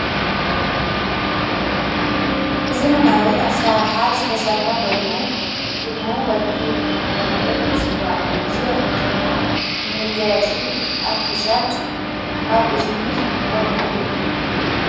ብዘመናዊ ኣሠራርሓ ዝተሠርሐ ኮይኑ ሽሙ ወርቂ እናተብሃለ እይጽዋዕ እዝ ወርቂ ድማ ንመጋያጺ ኣብ ክሳድ ኣብ እዝኒ ንጥመሉ እዩ።